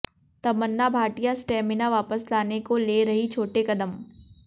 तमन्ना Bhatia stamina वापस लाने को ले रहीं छोटे कदम